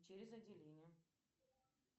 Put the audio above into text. через отделение